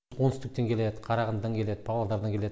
оңтүстіктен келеді қарағандыдан келеді павлодардан келеді